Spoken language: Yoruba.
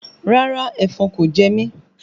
Rárá, ẹ̀fọn kò jẹmí